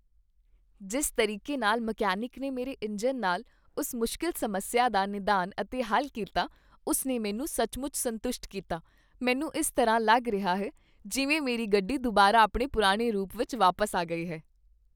ਜਿਸ ਤਰੀਕੇ ਨਾਲ ਮਕੈਨਿਕ ਨੇ ਮੇਰੇ ਇੰਜਣ ਨਾਲ ਉਸ ਮੁਸ਼ਕਲ ਸਮੱਸਿਆ ਦਾ ਨਿਦਾਨ ਅਤੇ ਹੱਲ ਕੀਤਾ, ਉਸ ਨੇ ਮੈਨੂੰ ਸੱਚਮੁੱਚ ਸੰਤੁਸ਼ਟ ਕੀਤਾ, ਮੈਨੂੰ ਇਸ ਤਰ੍ਹਾਂ ਲੱਗ ਰਿਹਾ ਹੈ ਜਿਵੇਂ ਮੇਰੀ ਗੱਡੀ ਦੁਬਾਰਾ ਆਪਣੇ ਪੁਰਾਣੇ ਰੂਪ ਵਿੱਚ ਵਾਪਸ ਆ ਗਈ ਹੈ।